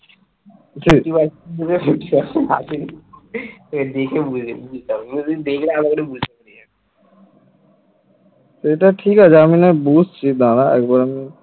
সেটা ঠিক আছে আমি নাই বুঝছি দাঁড়া এবার আমি ।